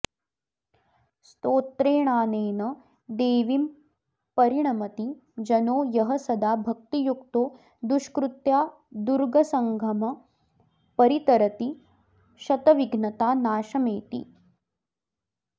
स्तोत्रेणानेन देवीम्परिणमति जनो यः सदा भक्तियुक्तो दुष्कृत्यादुर्गसङ्घम्परितरति शतविघ्नता नाशमेति